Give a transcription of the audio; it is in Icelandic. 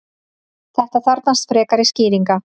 þetta þarfnast frekari skýringar